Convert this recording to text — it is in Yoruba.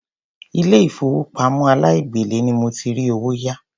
Ilé ìfowópamọ́ aláìgbèlé ni mo ti rí owó yá.